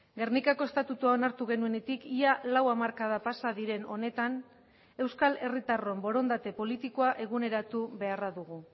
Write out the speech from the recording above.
gernikako estatutua onartu genuenetik ia lau hamarkada pasa diren honetan euskal herritarron borondate politikoa eguneratu beharra dugu